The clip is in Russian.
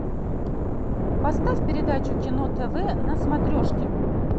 поставь передачу кино тв на смотрешке